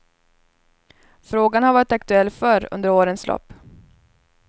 Frågan har varit aktuell förr under årens lopp.